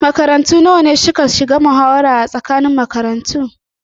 Makarantu nawa ne suka shiga muhawarar tsakanin makarantu?